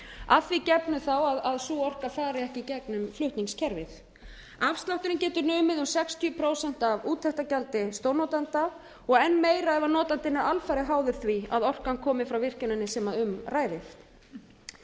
að því gefnu þá að sú orka fari ekki í gegnum flutningskerfið afslátturinn getur numið um sextíu prósent af úttektargjaldi stórnotanda og enn meira ef notandinn er alfarið háður því að orkan komi frá virkjuninni sem um ræðir